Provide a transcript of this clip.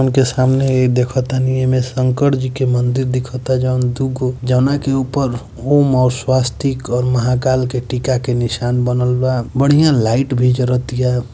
उनके सामने देखतानी ऐमें शंकर जी के मंदिर दिखता जउन दुगो जउना के ऊपर ओम और शवास्तिक और महाकाल के टिका के निशान बनल बा बढ़िया लाइट भी जरतीया।